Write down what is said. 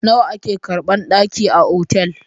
Nawa ake karɓan ɗaki a otal?